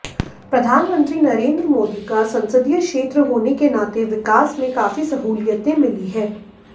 प्रधानमंत्री नरेंद्र मोदी का संसदीय क्षेत्र होने के नाते विकास में काफी सहूलियतें मिली है